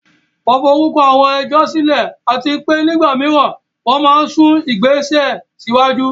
Wọ́n forúkọ àwọn ẹjọ́ sílẹ̀, àti pé nígbà mìíràn, wọ́n máa ń sún ìgbésẹ̀ síwájú.